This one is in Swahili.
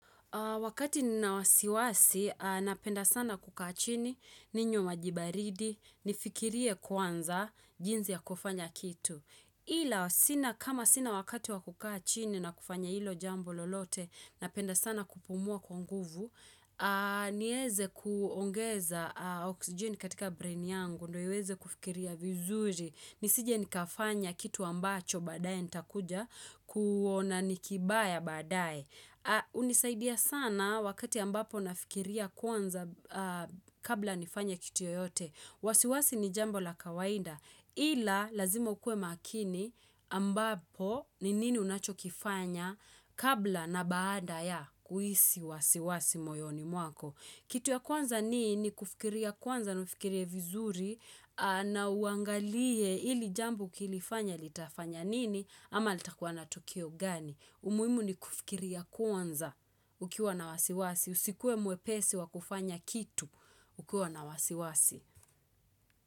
Wakati ninawasiwasi, napenda sana kukachini, ninywe maji baridi, nifikirie kwanza jinzi ya kufanya kitu. Ila, kama sina wakati wakukaachini na kufanya ilo jambo lolote, napenda sana kupumua kwa nguvu, nieze kuongeza oxygen katika brain yangu, ndio iweze kufikiria vizuri. Nisije nikafanya kitu ambacho badaye nita kuja, kuona nikimbaya badaye. Unisaidia sana wakati ambapo nafikiria kwanza kabla nifanya kitu ya yote wasiwasi ni jambo la kawaida Ila lazima ukue makini ambapo ni nini unachokifanya kabla na baada ya kuisi wasiwasi moyoni mwako Kitu ya kwanza ni ni kufikiria kwanza naufikirie vizuri na uangalie ili jambo ukilifanya litafanya nini ama litakuwa na tokio gani umuhimu ni kufikiria kwanza ukiwa na wasiwasi. Usikuwe mwepesi wa kufanya kitu ukiwa na wasiwasi.